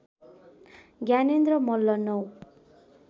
Gyanendra Malla ९